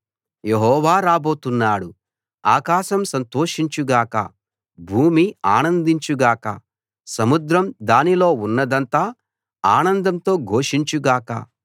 యెహోవా రాబోతున్నాడు ఆకాశం సంతోషించు గాక భూమి ఆనందించు గాక సముద్రం దానిలో ఉన్నదంతా ఆనందంతో ఘోషించు గాక